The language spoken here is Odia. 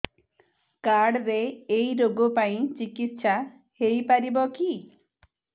କାର୍ଡ ରେ ଏଇ ରୋଗ ପାଇଁ ଚିକିତ୍ସା ହେଇପାରିବ କି